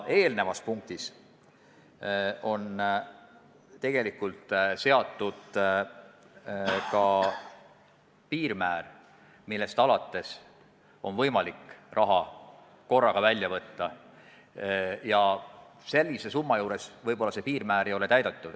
Eelmises punktis on seatud ka piirmäär, millest alates on võimalik raha korraga välja võtta, ja sellise summa juures võib-olla see piirmäär ei ole täidetud.